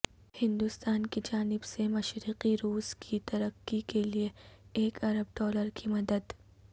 ہندوستان کی جانب سے مشرقی روس کی ترقی کے لیے ایک ارب ڈالر کی مدد